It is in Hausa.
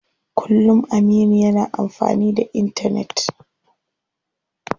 Kullum Aminu yana amfani da intanet.